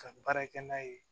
Ka baara kɛ n'a ye